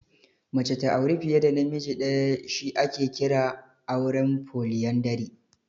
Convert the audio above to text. Mace ta auri fiye da namiji ɗaya shi ake kira auren Foliyandari.